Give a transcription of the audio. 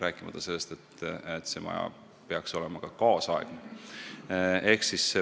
Veelgi enam, see maja peaks olema kaasaegne.